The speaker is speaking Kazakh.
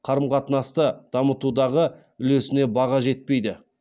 қарым қатынасты дамытудағы үлесіне баға жетпейді